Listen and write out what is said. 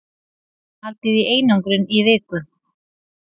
Haldið í einangrun í viku